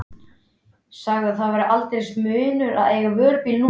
Sagði að það væri aldeilis munur að eiga vörubíl núna.